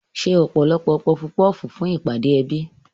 Ṣe ọ̀pọ̀lọpọ̀ pọfu pọ́fù fún ìpàdé ẹbí.